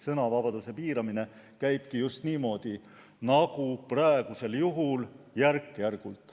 Sõnavabaduse piiramine käibki just niimoodi, nagu praegu tehakse, järk-järgult.